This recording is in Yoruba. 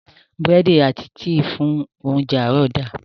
Búrẹ́dì àti tíì fún óńjẹ àárọ̀ da.